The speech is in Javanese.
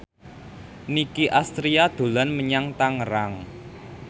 Nicky Astria dolan menyang Tangerang